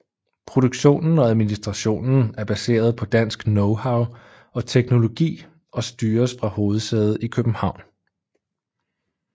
Produktionen og administrationen er baseret på dansk knowhow og teknologi og styres fra hovedsædet i København